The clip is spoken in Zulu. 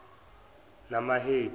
namahedi